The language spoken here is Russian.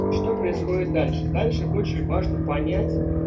что происходит дальше дальше очень важно понять